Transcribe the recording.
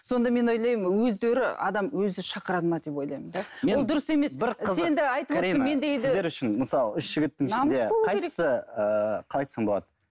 сонда мен ойлаймын өздері адам өзі шақырады ма деп ойлаймын да ол дұрыс емес